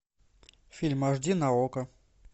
фильм аш ди на окко